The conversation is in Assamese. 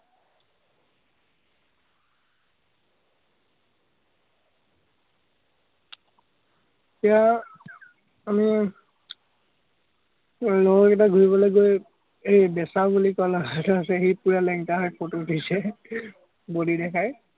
এতিয়া আমি লগৰ কেইটা ঘুৰিবলে গৈ এই সি পুৰা লেংটাহৈ photo দিছে, body দেখাই।